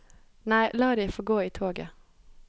Nei, la de få gå i toget.